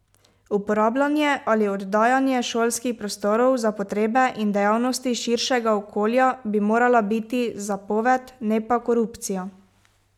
Uporabljanje ali oddajanje šolskih prostorov za potrebe in dejavnosti širšega okolja bi morala biti zapoved, ne pa korupcija.